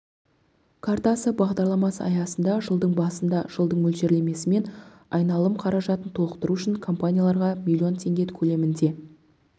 картасы бағдарламасы аясында жылдың басында жылдық мөлшерлемесімен айналым қаражатын толықтыру үшін компанияларға млн теңге көлемінде